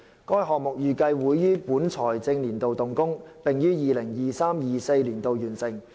該項目預計會於本財政年度動工，並於 2023-2024 年度完成。